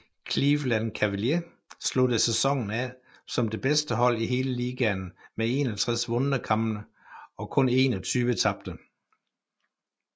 Cleveland Cavaliers sluttede sæsonen af som det bedste hold i hele ligaen med 61 vundne kampe og kun 21 tabte